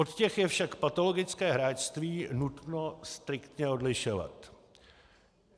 Od těch je však patologické hráčství nutno striktně odlišovat.